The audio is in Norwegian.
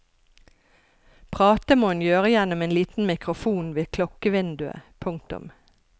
Prate må en gjøre gjennom en liten mikrofon ved klokkevinduet. punktum